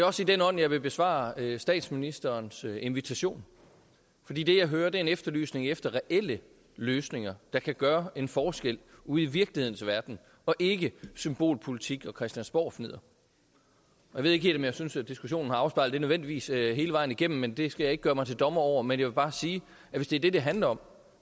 også i den ånd jeg vil besvare statsministerens invitation fordi det jeg hører er en efterlysning af reelle løsninger der kan gøre en forskel ude i virkelighedens verden og ikke symbolpolitik og christiansborgfnidder jeg ved ikke helt om jeg synes at diskussionen nødvendigvis har afspejlet det hele vejen igennem men det skal jeg ikke gøre mig til dommer over men jeg vil bare sige at hvis det er det det handler om